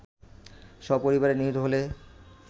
সপরিবারে নিহত হলে